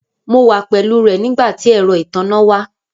Mo wà pẹ̀lú rẹ̀ nigbàtí èrọ́ ìtánná wà.